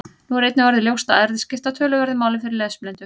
Nú er einnig orðið ljóst að erfðir skipta töluverðu máli fyrir lesblindu.